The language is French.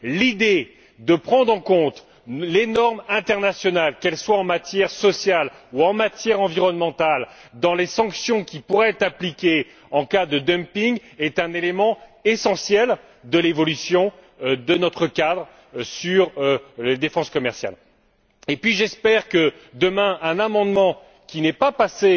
L'idée de prendre en compte les normes internationales, que ce soit en matière sociale ou en matière environnementale, dans les sanctions qui pourraient être appliquées en cas de dumping est un élément essentiel de l'évolution de notre cadre sur la défense commerciale. Et puis j'espère qu'un amendement qui n'est pas passé